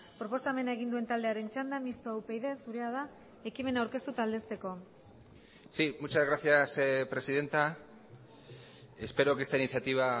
proposamena egin duen taldearen txanda mistoa upyd zurea da ekimena aurkeztu eta aldezteko sí muchas gracias presidenta espero que esta iniciativa